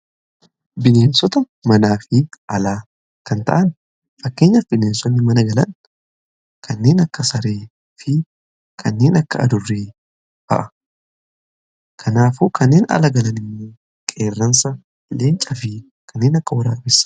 bineensota manaa fi alaa kan ta'an fakkeenyaf bineensonni mana galan kanneen akka saree fi kanneen akka adurree fa'a kanaafuu kanneen ala galani immoo qeerransa leencafii kanneen akka warabessa.